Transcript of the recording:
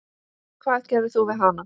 Hvað gerðir þú við hana?